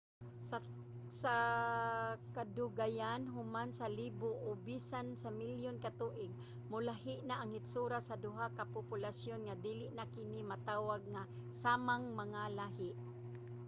sa kadugayan human sa libo o bisan sa milyon ka tuig molahi na ang hitsura sa duha ka populasyon nga dili na kini matawag nga samang mga lahi